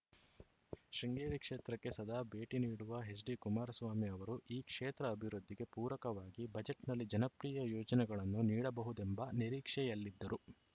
ಶೃಂಗೇರಿ ಕ್ಷೇತ್ರಕ್ಕೆ ಸದಾ ಭೇಟಿ ನೀಡುವ ಎಚ್‌ಡಿ ಕುಮಾರಸ್ವಾಮಿ ಅವರು ಈ ಕ್ಷೇತ್ರ ಅಭಿವೃದ್ಧಿಗೆ ಪೂರಕವಾಗಿ ಬಜೆಟ್‌ನಲ್ಲಿ ಜನಪ್ರಿಯ ಯೋಜನೆಗಳನ್ನು ನೀಡಬಹುದೆಂಬ ನಿರೀಕ್ಷೆಯಲ್ಲಿದ್ದರು